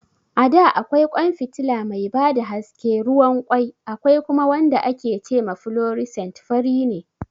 A da akwai ƙwan fitila mai ba da haske ruwan ƙwai, akwai kuma wanda ake ce ma "fluorescent", fari ne.